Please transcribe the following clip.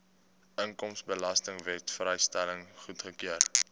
inkomstebelastingwet vrystelling goedgekeur